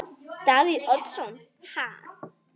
Davíð Oddsson: Ha?